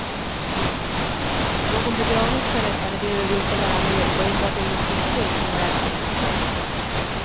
Någon begravningsförrättare behöver inte vara med och enbart en musikstund kan vara ett alternativ.